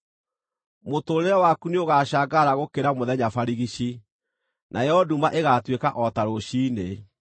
Mũtũũrĩre waku nĩũgacangarara gũkĩra mũthenya barigici, nayo nduma ĩgaatuĩka o ta rũciinĩ.